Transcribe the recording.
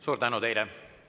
Suur tänu teile!